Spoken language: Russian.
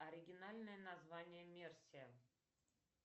оригинальное название мерсия